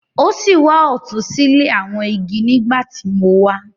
O si wà ọtun sile awọn igi nigbati mo wá.